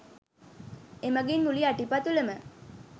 එමගින් මුළු යටිපතුලම